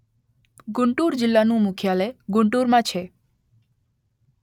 ગુન્ટૂર જિલ્લાનું મુખ્યાલય ગુન્ટૂરમાં છે